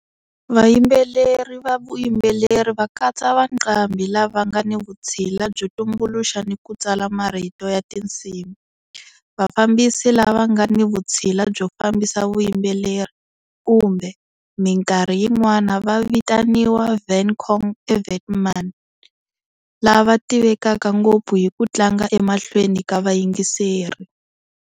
Vayimbeleri va vuyimbeleri va katsa vaqambhi lava nga ni vutshila byo tumbuluxa ni ku tsala marito ya tinsimu, vafambisi lava nga ni vutshila byo fambisa vuyimbeleri, kumbe minkarhi yin'wana va vitaniwa"van cong" eVietnam, lava tivekaka ngopfu hi ku tlanga emahlweni ka vayingiseri.